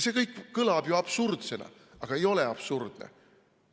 See kõik kõlab absurdsena, aga ei ole absurdne.